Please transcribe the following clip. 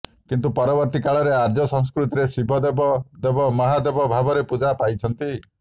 କିନ୍ତୁ ପରବର୍ତ୍ତୀ କାଳରେ ଆର୍ଯ୍ୟ ସଂସ୍କୃତିରେ ଶିବ ଦେବ ଦେବ ମହାଦେବ ଭାବରେ ପୂଜା ପାଇଛନ୍ତି